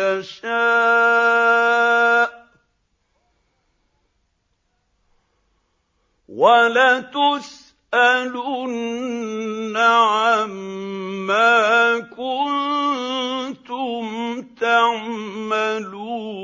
يَشَاءُ ۚ وَلَتُسْأَلُنَّ عَمَّا كُنتُمْ تَعْمَلُونَ